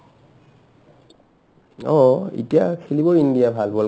অ অ এতিয়া খেলিবই ইণ্ডিয়াই ভাল world cup